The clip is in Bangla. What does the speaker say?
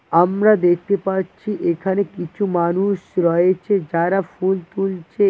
আমরা দেখতে পাচ্ছি এখানে কিছু মানুষ রয়েছে যারা ফুল তুলছে।